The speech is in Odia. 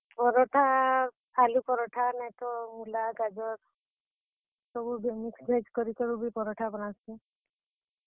ପରଠା, ଆଲୁ ପରଠା ନାହେତ ମୁଲା, ଗାଜର ସବୁ କେ mix veg କରିକି ବି ପରଠା ବନାସି।